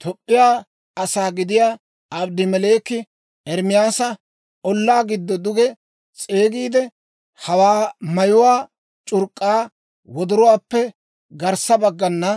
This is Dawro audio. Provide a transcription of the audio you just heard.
Toop'p'iyaa asaa gidiyaa Abedmeleeki Ermaasa ollaa giddo duge s'eegiide, «Hawaa mayuwaa c'urk'k'aa wodoruwaappe garssa baggana